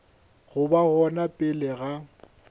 go ba gona pele ga